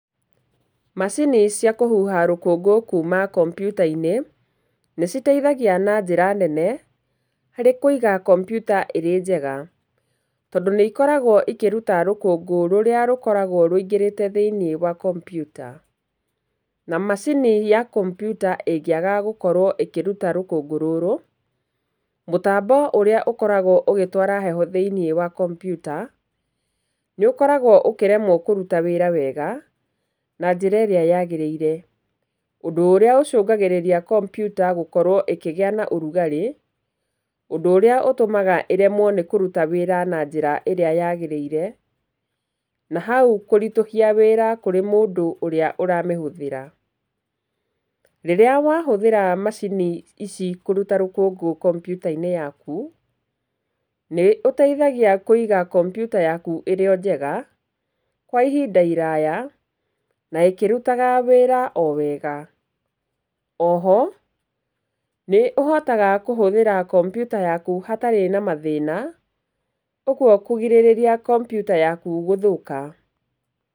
Macini cia kũhuha rũkũngũ kuuma kompiuta-inĩ nĩ citeithagia na njĩra nene harĩ kũiga kompiuta ĩrĩ njega. Tondũ nĩ ikoragwo ikĩruta rũkũngũ rũrĩa rũkoragwo rũingĩrĩte thĩinĩ wa kompiuta. Na macini ya kompiuta ĩngĩaga kũruta rũkũngũ rũrũ, mũtambo ũrĩa ũkoragwo ũgĩtwara heho thĩinĩ wa kompiuta nĩ ũkoragwo ũkĩremwo kũruta wĩra wega na njĩra ĩrĩa yaagĩrĩire. Ũndũ ũrĩa ũkoragwo ũcũngĩrĩirie kompiuta gũkorwo ĩkĩgĩa na ũrugarĩ ũndũ ũrĩa ũtũmaga ĩremwo nĩ kũruta wĩra na njĩra ĩrĩa yagirĩire. Na hau kũritũhia wĩra kũrĩ mũndũ ũrĩa ũramĩhũthĩra. Rĩrĩa wahũthĩra macini ici kũruta rũkũngũ kompiuta-inĩ yaku, nĩ ũteithagia kũiga kompiuta yaku ĩrĩ njega kwa ihinda iraya na ĩkĩrutaga wĩra o wega. O ho nĩ ũhotaga kũhũthĩra kompiuta yaku hatarĩ na mathĩna, ũguo kũgirĩrĩria kompiuta yaku gũthũka.